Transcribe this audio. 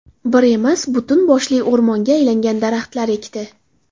Bir emas, butun boshli o‘rmonga aylangan daraxtlar ekdi.